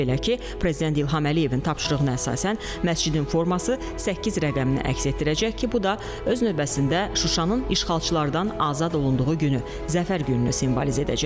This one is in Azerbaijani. Belə ki, Prezident İlham Əliyevin tapşırığına əsasən məscidin forması səkkiz rəqəmini əks etdirəcək ki, bu da öz növbəsində Şuşanın işğalçılardan azad olunduğu günü, Zəfər gününü simvolizə edəcək.